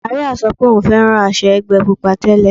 Màríà sọ pé òun fẹ́ràn aṣọ ẹgbẹ́ Pupa tẹ́lẹ̀.